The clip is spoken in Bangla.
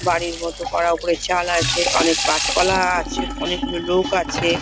বাড়ির মতো করা | ওপরে চাল আছে অনেক গাছপালা আছে | অনেকগুলো লোক আছে ।